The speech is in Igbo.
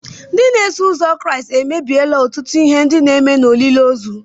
Ndị na-eso ụzọ Kraịst ememilaala ọtụtụ ihe ndị a na-eme n'olili ozu.